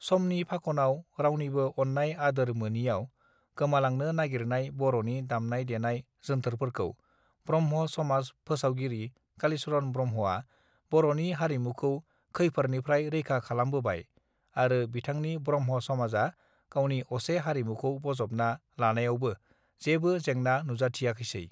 समनि फाखनाव रावनिबो अननाय आदोर मोनियाव गोमालांनो नागिरनाय बरनि दामनाय देनाय जोन्थोरफोरखौ ब्रह्म समाज फोसावगिरि कालिचरण ब्रह्मआ बरनि हारिमुखौ खैफोरनिफ्राय रैखा खालामबोबाय आरो बिथांनि ब्रह्म समाजा गावनि असे हारिमुखौ बजबना लानायावबो जेबो जेंना नुजथियाखैसै